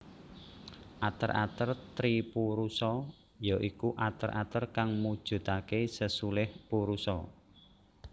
Ater ater tripurusa ya iku ater ater kang mujudaké sesulih purusa